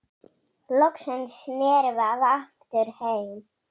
Loksins snerum við aftur heim.